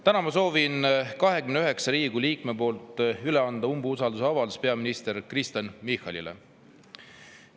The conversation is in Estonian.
Täna ma soovin 29 Riigikogu liikme poolt üle anda umbusalduse avaldamise peaminister Kristen Michalile.